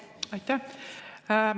Aitäh!